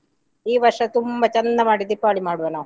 ಈ ವರ್ಷ ತುಂಬಾ ಚಂದ ಮಾಡಿ ದೀಪಾವಳಿ ಮಾಡುವ ನಾವು.